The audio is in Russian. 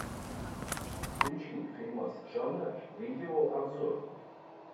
включи фильмас жанра видео обзор